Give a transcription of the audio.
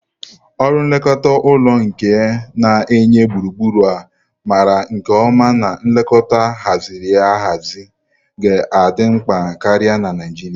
Ọrụ nlekọta ụlọ nke na-enye gburugburu a maara nke ọma na nlekọta ahaziri ahazi ga-adị mkpa karịa na Naijiria.